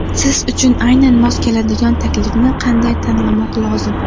Siz uchun aynan mos keladigan taklifni qanday tanlamoq lozim?